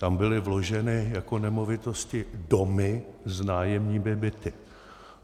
Tam byly vloženy jako nemovitosti domy s nájemními byty.